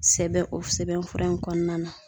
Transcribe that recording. Sɛbɛn o sɛbɛn fura in kɔnɔna na